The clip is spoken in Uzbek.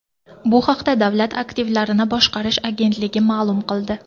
Bu haqda Davlat aktivlarini boshqarish agentligi ma’lum qildi .